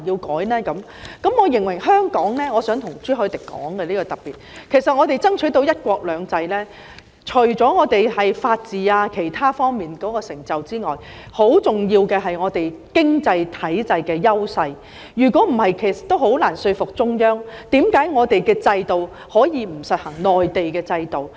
我想特別向朱凱廸議員指出，香港能夠爭取到"一國兩制"，除了因為我們在法治等方面的成就之外，很重要的一點，就是我們經濟體制上的優勢，否則也很難說服中央，為何我們可以不實行內地的制度。